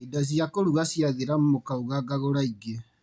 Indo cia kũruga ciathira mũkauga ngagũra ingĩ.